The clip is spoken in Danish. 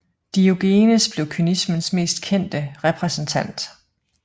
Diogenes blev kynismens mest kendte repræsentant